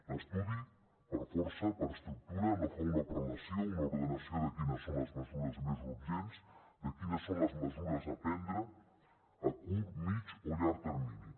l’estudi per força per estructura no fa una prelació una ordenació de quines són les mesures més urgents de quines són les mesures a prendre a curt mitjà o llarg termini